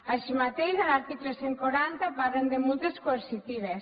així mateix en l’article cent i quaranta parlen de multes coercitives